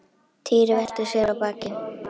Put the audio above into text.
Týri velti sér á bakið.